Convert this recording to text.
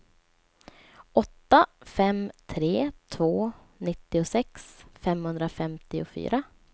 åtta fem tre två nittiosex femhundrafemtiofyra